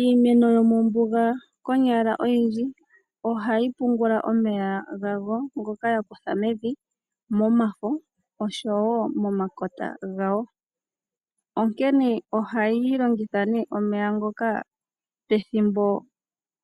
Iimeno yomombuga konyala oyindji ohayi pungula omeya gayo ngoka yakutha mevi momafo oshowo momakota gayo . Onkene ohayi longitha nee omeya ngoka pethimbo